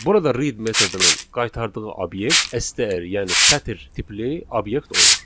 Burada read metodunun qaytardığı obyekt STR, yəni sətir tipli obyekt olur.